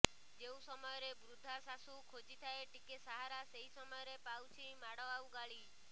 ଯେଉଁ ସମୟରେ ବୃଦ୍ଧା ଶାଶୁ ଖୋଜିଥାଏ ଟିକେ ସାହାରା ସେହି ସମୟରେ ପାଉଛି ମାଡ ଆଉ ଗାଳି